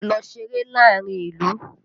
Lọ ṣeré láàárín ìlú!